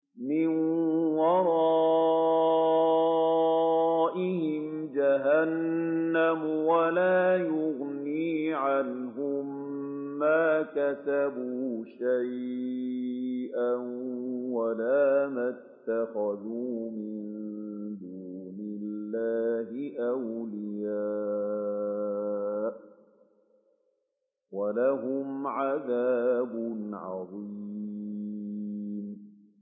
مِّن وَرَائِهِمْ جَهَنَّمُ ۖ وَلَا يُغْنِي عَنْهُم مَّا كَسَبُوا شَيْئًا وَلَا مَا اتَّخَذُوا مِن دُونِ اللَّهِ أَوْلِيَاءَ ۖ وَلَهُمْ عَذَابٌ عَظِيمٌ